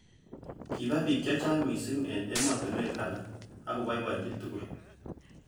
Kiba bik chechang missing eng ematunwek alak.ak koboiboiji tugul.